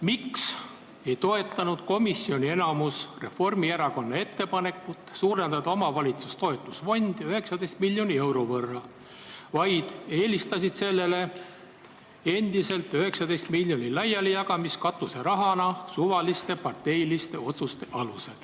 Miks ei toetanud komisjoni enamus Reformierakonna ettepanekut suurendada omavalitsuste toetusfondi 19 miljoni euro võrra, vaid eelistas sellele 19 miljoni katuserahana laialijagamist suvaliste parteiliste otsuste alusel?